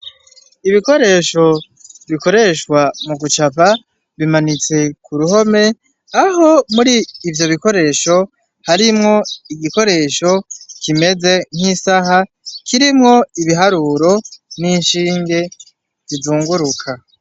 Ibikoresho bikoreshwa mu gucapa bimanitse ku ruhome aho muri ivyo bikoresho harimwo igikoresho kimeze nk'isaha kirimwo ibiharuro n'insinge zizunguruka.